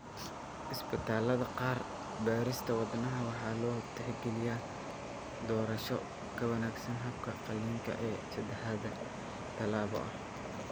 Isbitaalada qaar, beerista wadnaha waxaa loo tixgeliyaa doorasho ka wanaagsan habka qalliinka ee saddexda tallaabo ah.